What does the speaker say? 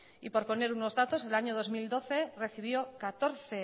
y por poner unos datos el año dos mil doce recibió catorce